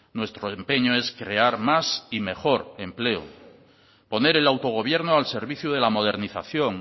nuestro empeño es crear más y mejor empleo poner el autogobierno al servicio de la modernización